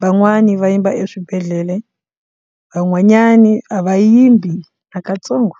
van'wani va yimba eswibedhlele van'wanyani a va yimbi na katsongo.